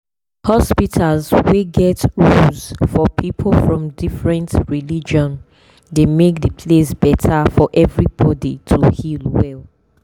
hospitals wey get rules for people from different religion dey make the place better for everybody to heal well.